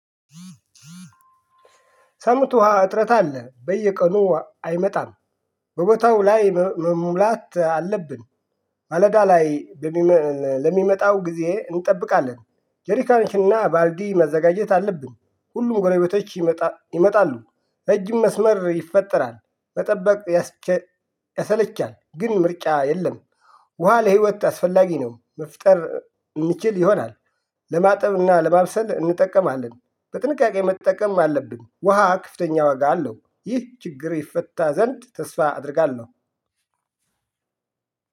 ሰምቱ ውሃ እጥረት አለ በየቀኑ አይመጣም በቦታው ላይ መሙላት አለብን። ማለዳ ላይ ለሚመጣው ጊዜ እንጠብቃለን። ጄሪካንሽና ባልዲ መዘጋጀት አለብን። ሁሉም ጎረቤቶች ይመጣሉ። ረጅም መስመር ይፈጠራል መጠበቅ ያሰለቻል። ግን ምርጫ የለም። ውሃ ለህይወት አስፈላጊ ነው። መፍጠር እንችል ይሆናል። ለማጠብና ለማብሰል እንጠቀማለን። በጥንቃቄ መጠቀም አለብን። ውሃ ከፍተኛ ዋጋ አለው። ይህ ችግር ይፈታ ዘንድ ተስፋ አደርጋለሁ።